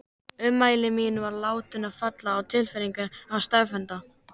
Ummæli mín voru látin falla að gefnu tilefni stefnenda.